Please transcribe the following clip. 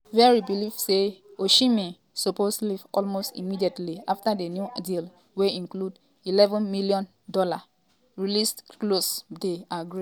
verri believe say osimhen um suppose “leave almost immediately” afta di new deal wey includes a £113m ($148m) release clause dey agreed.